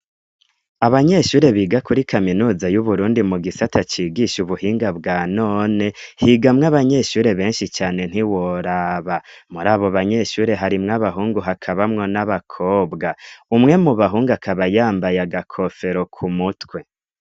Abanyeshure biga kuri kaminuza y'uburundi mu gisata cigisha ubuhinga bwa none, higamwo abanyeshure benshi cane ntiworaba, muri abo banyeshure harimwo abahungu hakabamwo n'abakobwa , umwe mu bahungu akaba yambaye agakofero ku mutwe.